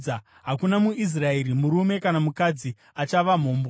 Hakuna muIsraeri, murume kana mukadzi achava mhombwe.